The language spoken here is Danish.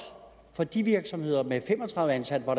for de virksomheder med fem og tredive ansatte hvor